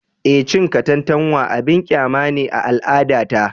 Eh, cin katantanwa abin kyama ne a al’adata